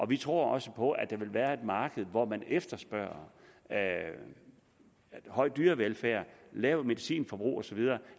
vi tror også på at der vil være et marked hvor man efterspørger høj dyrevelfærd lavt medicinforbrug og så videre